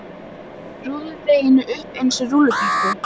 um hvolpi á milli sinna stóru hrumu handa.